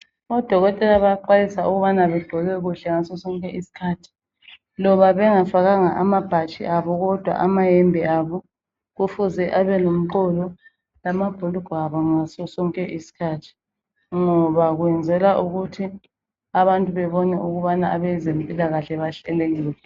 odokotela bayaxwayiswa ukubana begqoke kuhle ngaso sonke isikhathi loba bengafakanga amabhatshi abo kodwa amayembe kufuze abe lomqolo lamabhurugwa abo ngaso sonke isikhathi ngoba kwenzela ukuthi abantu bebone ukubana abezempilakahle bahlelekile